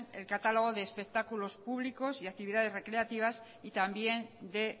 el catálogo de espectáculos públicos y actividades recreativas y también de